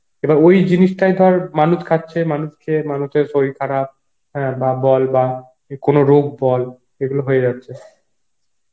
এবার ওই জিনিসটাই ধর মানুষ খাচ্ছে মানুষ খেয়ে মানুষের সরির খারাপ হ্যাঁ বা বল বা কোন রোগ বলছে এগুলো হয়ে যাচ্ছে